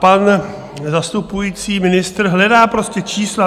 Pan zastupující ministr hledá prostě čísla.